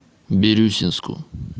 бирюсинску